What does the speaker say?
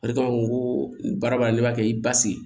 Ale b'a fɔ n ko baara b'a la n'i b'a kɛ i basigi